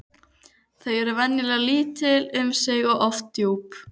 Þau eru venjulega lítil um sig og oft djúp.